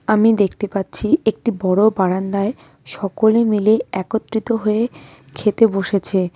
আমি দেখতে পাচ্ছি একটি বড় বারান্দায় সকলে মিলে একত্রিত হয়ে খেতে বসেছে।